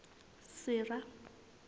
sera